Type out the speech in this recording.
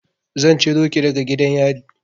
Zan ciro ki daga gidan yari.